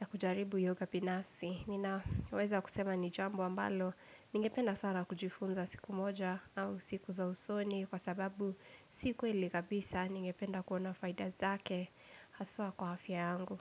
ya kujaribu yoga binafsi. Ninaweza kusema ni jambo ambalo, ningependa sana kujifunza siku moja au siku za usoni kwa sababu si kweli kabisa, ningependa kuona faida zake, haswa kwa afya yangu.